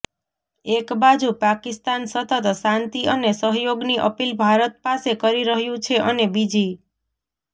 એક બાજુ પાકિસ્તાન સતત શાંતિ અને સહયોગની અપીલ ભારત પાસે કરી રહ્યું છે અને બીજી